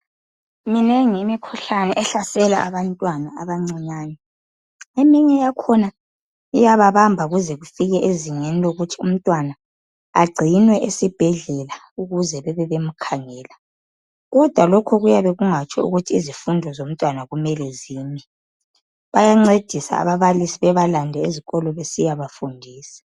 Minengi imikhuhlane ehlasela abantwana abancinyane. Eminye yakhona iyababamba kuze kufike ezingeni lokuthi umntwana agcinwe esibhedlela ukuze bebebemkhangela kodwa lokhu kuyabe kungatsho ukuthi izifundo zomntwana kumele zime. Bayancedisa ababalisi bebalande ezikolo besiyabafundisa.